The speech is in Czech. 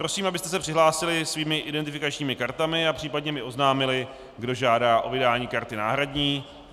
Prosím, abyste se přihlásili svými identifikačními kartami a případně mi oznámili, kdo žádá o vydání karty náhradní.